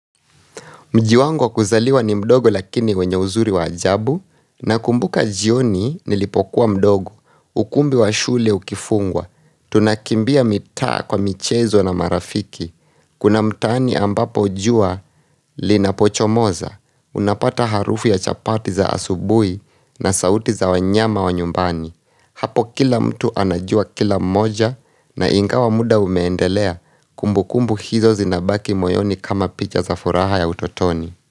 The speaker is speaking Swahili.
Mjiwangu wa kuzaliwa ni mdogo lakini wenye uzuri wa ajabu, na kumbuka jioni nilipokuwa mdogo, ukumbi wa shule ukifungwa, tunakimbia mitaa kwa michezo na marafiki, kuna mtaani ambapo jua linapochomoza, unapata harufu ya chapati za asubuhi na sauti za wanyama wa nyumbani. Hapo kila mtu anajua kila mmoja na inga wa muda umeendelea kumbu kumbu hizo zinabaki moyoni kama picha za furaha ya utotoni.